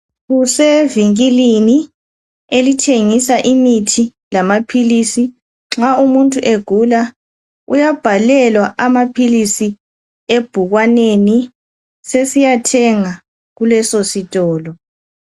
Kusevinkilini elithengisa imithi lamaphilisi nxa umuntu egula uyabhalelwa amaphilisi ebhukwaneni lelo, sesiyathenga kuleso sitolo.